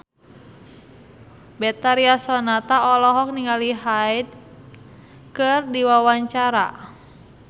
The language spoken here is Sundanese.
Betharia Sonata olohok ningali Hyde keur diwawancara